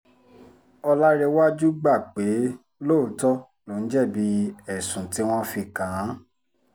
ọlárẹ̀wájú gbà pé lóòótọ́ lòun jẹ̀bi ẹ̀sùn tí wọ́n fi kàn án